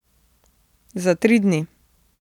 Za tri dni.